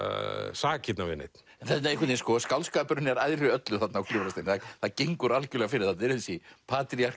sakirnar við neinn skáldskapurinn er æðri öllu þarna á Gljúfrasteini það gengur algerlega fyrir það er þessi